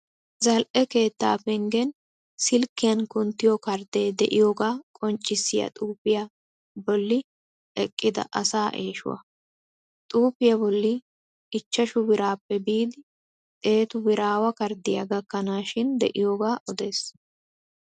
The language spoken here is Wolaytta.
Zal'e keettaa penggen silkkiyan kunttiyoo karddee de'iyooga qonccissiyaa xuufiyaa bolli eqqida asaa eeshuwaa. Xuufiyaa bolli ichchashu biraappe biidi xeetu biraawa karddiyaa gakkanaashin de'iyoogaa odes.